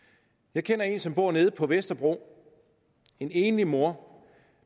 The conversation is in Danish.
jeg kender en som bor på vesterbro en enlig mor